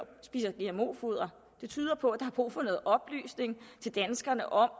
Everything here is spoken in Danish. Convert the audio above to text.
spiser gmo foder det tyder på at der er brug for noget oplysning til danskerne om